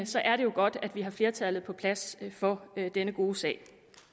så er det jo godt at vi har flertallet på plads for denne gode sag